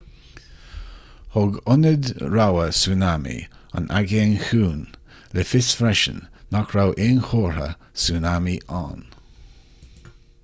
thug ionad rabhaidh súnámaí an aigéin chiúin le fios freisin nach raibh aon chomhartha súnámaí ann